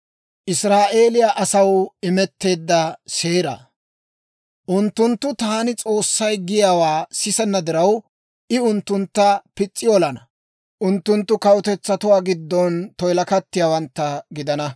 Unttunttu taan S'oossay giyaawaa sisenna diraw, I unttuntta pis's'i olana; unttunttu kawutetsatuwaa giddon toyilakattiyaawantta gidana.